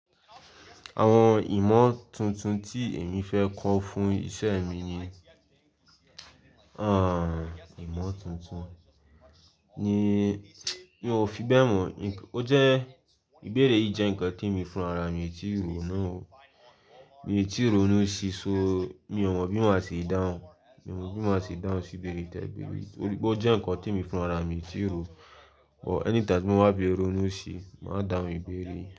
Àwọn ìmọ̀ tuntun tí èmi fẹ́ kọ́ fún iṣẹ́ mi ni, ìmọ̀ tuntun ni mi ò fi bẹ́ẹ̀ mọ̀. Ó jẹ́ ìbéèrè yìí jẹ́ nǹkan t'émi fúnra, mi ò tíì rò ó náà o. Mi ò tíì rò ó núṣì, so mi ò mọ̀ bí màá ṣe dáhùn. Mi ò mọ̀ bí màá ṣe é dáhùn sí ìbéèrè tẹ̀, ìbéèrè torí pé ó jẹ́ nǹkan tí mi fúnra, mi ò tíì rò ó. But anytime ti mo bá fi rónú ṣìi, màá dáhùn ìbéèrè.